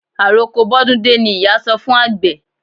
Àroko bọ́dún dé ni ìyá sọ fún àgbẹ̀.